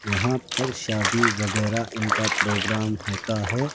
यहां पर शादी वगैरह इनका प्रोग्राम होता है।